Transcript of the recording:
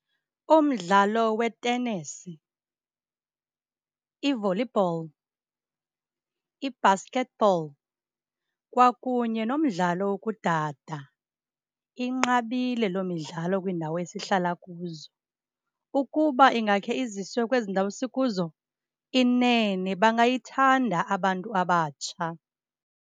Umdlalo wetenesi, i-volleyball, i-basketball kwakunye nomdlalo wokudada. Inqabile loo midlalo kwiindawo esihlala kuzo. Ukuba ingakhe iziswe kwezi ndawo sikuzo, inene bangayithanda abantu abatsha.